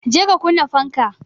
je ka kunna fanka